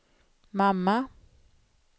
mamma